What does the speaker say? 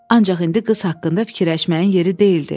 Ancaq indi qız haqqında fikirləşməyin yeri deyildi.